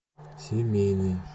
семейный